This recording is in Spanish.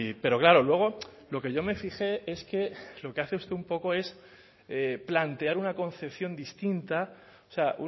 pero claro luego lo que yo me fijé es que lo que hace usted un poco es plantear una concepción distinta o sea